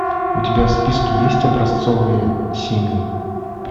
у тебя в списке есть образцовые семьи